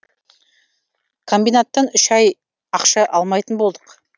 комбинаттан үш ай ақша алмайтын болдық